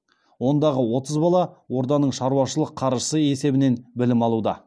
ондағы отыз бала орданың шаруашылық қаржысы есебінен білім алуда